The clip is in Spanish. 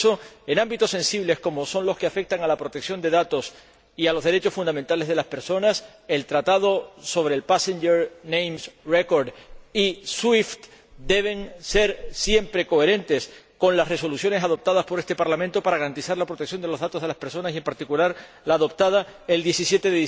Y por eso, en ámbitos sensibles como son los que afectan a la protección de datos y a los derechos fundamentales de las personas, los acuerdos sobre el Passenger Name Record y el SWIFT deben ser siempre coherentes con las resoluciones adoptadas por este Parlamento para garantizar la protección de los datos de las personas y, en particular, con la adoptada el 17